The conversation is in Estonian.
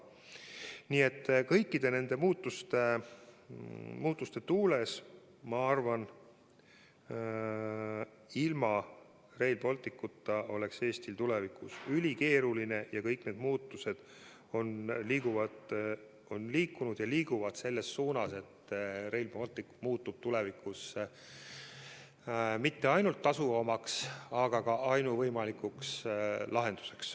Nii et kõikide nende muutuste tuules ma arvan, et ilma Rail Balticuta oleks Eestil tulevikus ülikeeruline ning kõik need muutused on liikunud ja liiguvad edaspidigi selles suunas, et Rail Baltic ei muutu tulevikus mitte ainult tasuvamaks lahenduseks, vaid muutub ka ainuvõimalikuks lahenduseks.